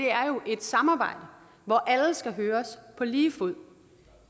er jo et samarbejde hvor alle skal høres på lige fod